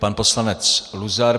Pan poslanec Luzar.